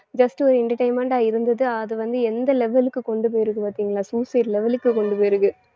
just ஒரு entertainment ஆ இருந்தது அது வந்து எந்த level க்கு கொண்டு போயிருக்கு பாத்தீங்களா suicide level க்கு கொண்டு போயிருக்கு